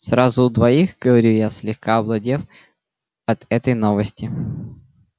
сразу у двоих говорю я слегка овладев от этой новости